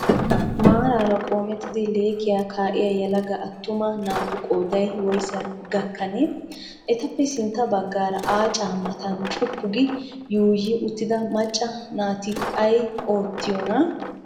Maaraara qoomettidi lekkiyaa kaa''yaa yelaga attuma naatu qooday woysa gakkanee? Etappe sintta baggaara aaca maatan cuppugi yuuyyyi uttida macca naati ayi oottiyoonaa?